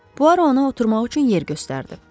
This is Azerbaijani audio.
Puaro ona oturmaq üçün yer göstərdi.